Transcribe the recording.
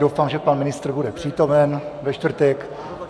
Doufám, že pan ministr bude přítomen ve čtvrtek.